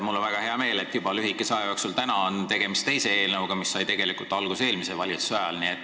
Mul on väga hea meel, et lühikese aja jooksul täna on tegemist juba teise eelnõuga, mis sai tegelikult alguse eelmise valitsuse ajal.